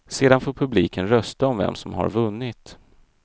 Sedan får publiken rösta om vem som har vunnit.